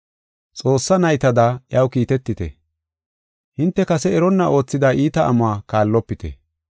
Xoossaa naytada iyaw kiitetite; hinte kase eronna oothida iita amuwa kaallopite.